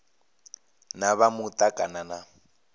na vha muta kana na